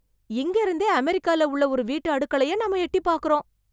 இங்க இருந்தே அமெரிக்கால உள்ள ஒரு வீட்டு அடுக்களைய நாம எட்டிப் பாக்கிறோம்.